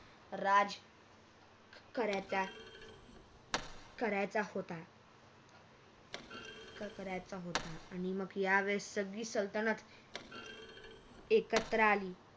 राज करायचा करायचा होता करायचा होता आणि मग यावेळेस सगळी सल्तनत एकत्र आली